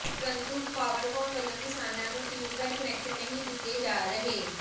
ਪ੍ਰੰਤੂ ਪਾਵਰਕੌਮ ਵੱਲੋਂ ਕਿਸਾਨਾਂ ਨੂੰ ਟਿਊਬਵੈੱਲ ਕੁਨੈਕਸ਼ਨ ਨਹੀਂ ਦਿੱਤੇ ਜਾ ਰਹੇ